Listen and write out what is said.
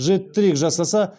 жет трик жасаса